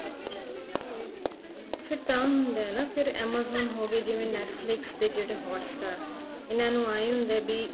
ਫ਼ੇਰ ਤਾਂ ਹੁੰਦਾ ਹੈ ਨਾ ਫ਼ੇਰ amazon ਹੋ ਗਏ ਜਿਵੇਂ Netflix ਤੇ ਜਿਹੜੇ hot star ਇਹਨਾ ਨੂੰ ਆਏ ਹੁੰਦਾ ਹੈ ਵੀ